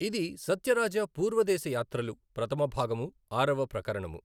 ఇది సత్యరాజా పూర్వదేశ యాత్రలు ప్రథమభాగము ఆరవ ప్రకరణము